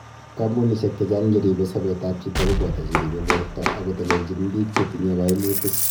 Kampunishek chechang cheribe sabet ab chito kobata cheribe borto akotelelnchin biik chetinye kaimutik